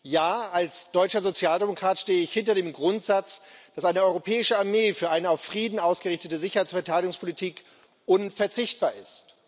Ja, als deutscher Sozialdemokrat stehe ich hinter dem Grundsatz, dass eine europäische Armee für eine auf Frieden ausgerichtete Sicherheits und Verteidigungspolitik unverzichtbar ist.